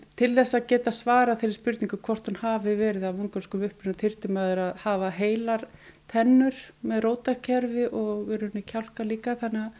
til þess að geta svarað þeirri spurningu hvort að hún hafi verið af mongólskum uppruna þyrfti maður að hafa heilar tennur með rótarkerfi og kjálka líka